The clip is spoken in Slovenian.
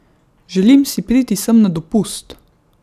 Želim si priti sem na dopust!